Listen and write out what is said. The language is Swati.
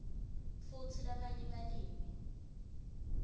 futsi labanye balimi